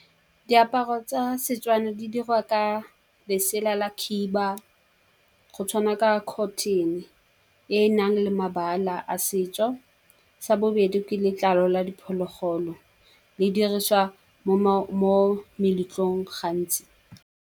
Diaparo tsa Setswana di dirwa ka lesela la khiba, go tshwana ka cotton-e e nang le mabala a setso. Sa bobedi, ke letlalo la diphologolo le dirisiwa mo meletlong gantsi.